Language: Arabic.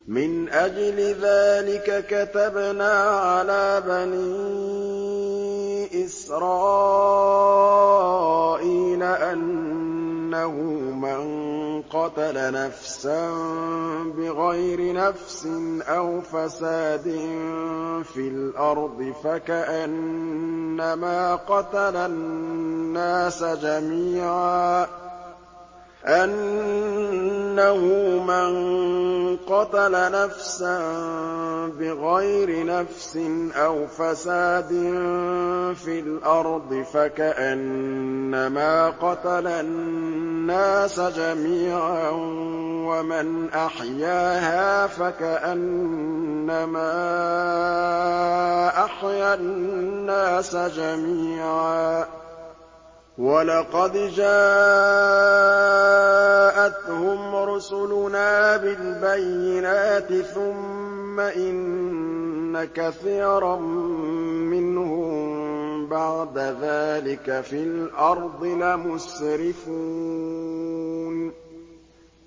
مِنْ أَجْلِ ذَٰلِكَ كَتَبْنَا عَلَىٰ بَنِي إِسْرَائِيلَ أَنَّهُ مَن قَتَلَ نَفْسًا بِغَيْرِ نَفْسٍ أَوْ فَسَادٍ فِي الْأَرْضِ فَكَأَنَّمَا قَتَلَ النَّاسَ جَمِيعًا وَمَنْ أَحْيَاهَا فَكَأَنَّمَا أَحْيَا النَّاسَ جَمِيعًا ۚ وَلَقَدْ جَاءَتْهُمْ رُسُلُنَا بِالْبَيِّنَاتِ ثُمَّ إِنَّ كَثِيرًا مِّنْهُم بَعْدَ ذَٰلِكَ فِي الْأَرْضِ لَمُسْرِفُونَ